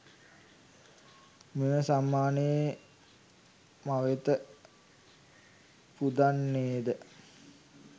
මෙම සම්මානය මවෙත පුදන්නේද?